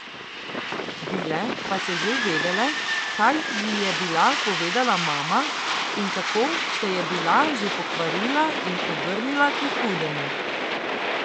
Vile pa so že vedele, kaj ji je bila povedala mama in kako se je bila že pokvarila in obrnila k hudemu.